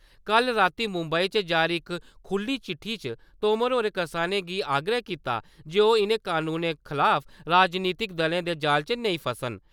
कल रातीं मुम्बई च जारी इक खुल्ली चिट्ठी च तोमर होरें करसानें गी आग्रह कीता जे कि ओह् इ'नें कनूनें खलाफ राजनीतिक दलें दे जाल च नेईं फसन।